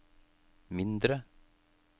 mindre